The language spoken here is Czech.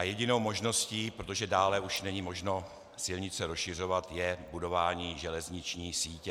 A jedinou možností, protože dále už není možno silnice rozšiřovat, je budování železniční sítě.